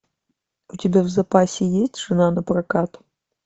у тебя в запасе есть жена напрокат